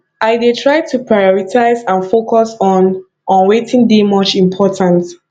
i dey try to prioritize and focus on on wetin dey much important